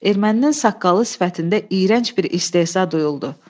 Erməninin saqqalı sifətində iyrənc bir istehza duyuldu.